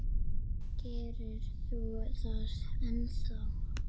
Gerir þú það ennþá?